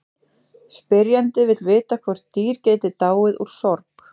Spyrjandi vill vita hvort dýr geti dáið úr sorg.